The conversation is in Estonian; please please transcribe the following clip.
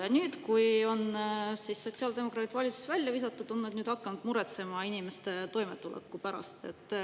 Ja nüüd, kui on sotsiaaldemokraadid valitsuses välja visatud, on nad hakanud muretsema inimeste toimetuleku pärast.